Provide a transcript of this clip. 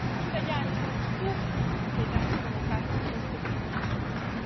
Gli italiani sono stufi dei danni provocati da queste finte risorse.